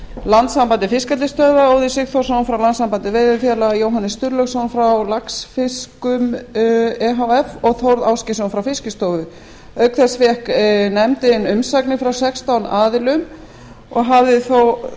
landssambandi fiskeldisstöðva óðin sigþórsson frá landssambandi veiðifélaga jóhannes sturlaugsson frá laxfiskum e h f og þórð ásgeirsson frá fiskistofu auk þess fékk nefndin umsagnir frá sextán aðilum og hafði því